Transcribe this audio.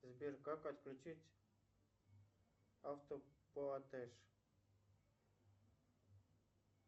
сбер как отключить автоплатеж